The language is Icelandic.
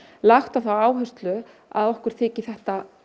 lagt á það áherslu að okkur þyki þetta